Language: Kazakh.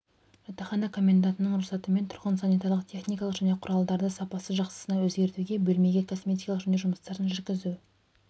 жатақхана коммендантының рұқсатымен тұрғын санитарлық-техникалық және құралдарды сапасы жақсысына өзгетуге бөлмеге косметикалық жөндеу жұмыстарын жүргізуге